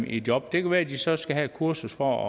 i job det kan være at de så skal have et kursus for